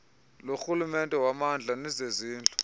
lorhulumente wommandla nezezindlu